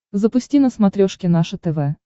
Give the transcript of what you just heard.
запусти на смотрешке наше тв